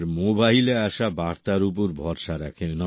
আর মোবাইলে আসা বার্তা উপর ভরসা রাখেন